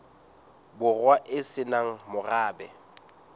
borwa e se nang morabe